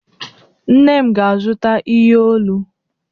Nne m ga-azụta ihe olu.